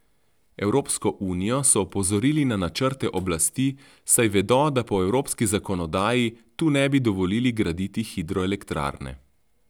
Evropsko unijo so opozorili na načrte oblasti, saj vedo, da po evropski zakonodaji tu ne bi dovolili graditi hidroelektrarne.